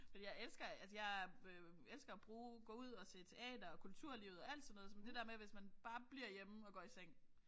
Fordi jeg elsker altså jeg elsker at bruge gå ud og se teater og kulturlivet og alt sådan noget men det er med hvis man bare bliver hjemme og går i seng